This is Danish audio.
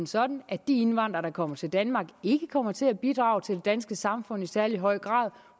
sådan at de indvandrere der kommer til danmark ikke kommer til at bidrage til det danske samfund i særlig høj grad